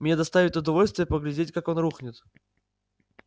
мне доставит удовольствие поглядеть как он рухнет